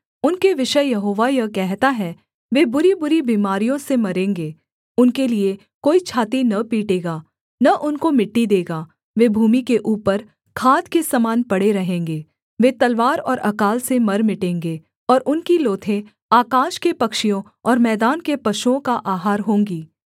उनके विषय यहोवा यह कहता है वे बुरीबुरी बीमारियों से मरेंगे उनके लिये कोई छाती न पीटेगा न उनको मिट्टी देगा वे भूमि के ऊपर खाद के समान पड़े रहेंगे वे तलवार और अकाल से मर मिटेंगे और उनकी लोथें आकाश के पक्षियों और मैदान के पशुओं का आहार होंगी